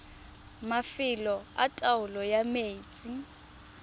mafelo a taolo ya metsi